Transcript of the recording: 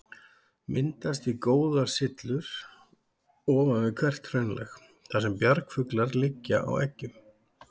Myndast því góðar syllur ofan við hvert hraunlag, þar sem bjargfuglar liggja á eggjum.